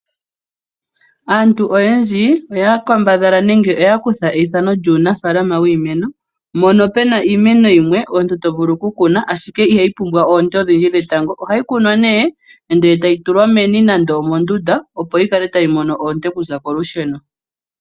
Aantu oyendji oya kambadhala nenge oya kutha eithano lyuunafaalama wiimeno, mono pena iimeno yimwe omuntu to vulu oku kuna ashike ihayi pumbwa oonte odhindji dhetango. Ohayi kunwa nee ndele tayi tulwa meni nande omondunda opo yi kale tayi mono oonte okuza kolusheno.